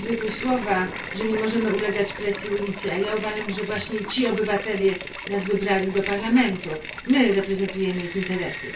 Padły tu słowa, że nie możemy ulegać presji ulicy, a ja uważam, że właśnie ci obywatele wybrali nas do Parlamentu. My reprezentujemy ich interesy.